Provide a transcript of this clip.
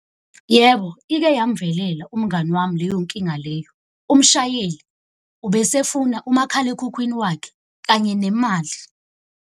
Yebo, ike yamvelela umngani wami leyo nkinga leyo. Umshayeli ubesefuna umakhalekhukhwini wakhe, kanye nemali.